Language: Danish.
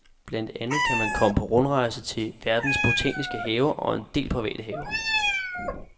Blandt andet kan man komme på rundrejse til verdens botaniske haver og en del private haver.